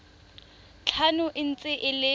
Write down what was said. tlhano e ntse e le